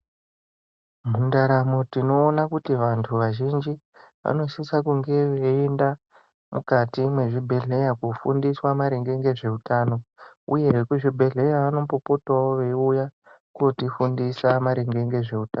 Mundaramo tinoona kuti vantu vazhinji vanosisa kunge veienda mukati mwezvibhedhlera kofundiswa maringe nezveutano uye vekuzvibhedhera vanombopotawo veiuya kotifundisa maringe nezveutano.